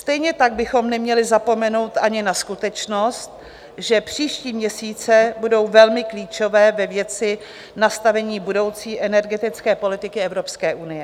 Stejně tak bychom neměli zapomenout ani na skutečnost, že příští měsíce budou velmi klíčové ve věci nastavení budoucí energetické politiky Evropské unie.